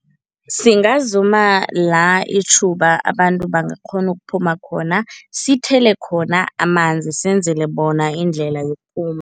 Singazuma la itjhuba abantu bangakghona ukuphuma khona, sithele khona amanzi, senzele bona indlela yokuphuma.